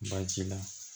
Baasi la